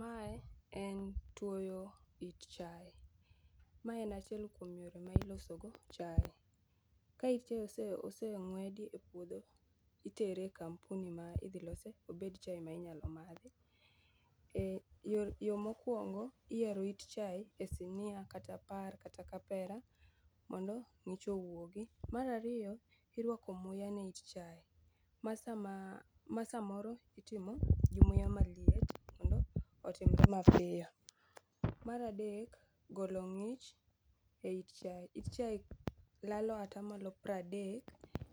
Mae en twoyo it chae, ma en achiel kuom yore ma ilosogo chae. Ka chae oseng'wedi e puodho itere e kampuni ma idhilose obed chae minyalo madhi. Yo mokwongo, iyaro it chae e sinia kata par kata kapera mondo ng'ich owuogi. Mar ariyo, irwako muya ne it chae ma samoro itimo gi muya maliet mondo otimre mapiyo. Mar adek golo ng'ich e it chae, it chae lalo atamalo pradek